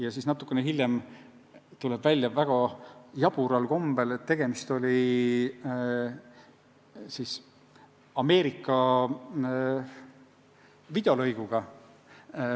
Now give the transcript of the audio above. Aga natukene hiljem tuleb väga jabural kombel välja, et tegemist oli Ameerika videolõiguga.